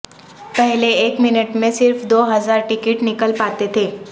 پہلے ایک منٹ میں صرف دو ہزار ٹکٹ نکل پاتے تھے